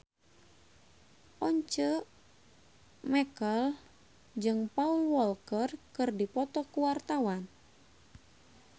Once Mekel jeung Paul Walker keur dipoto ku wartawan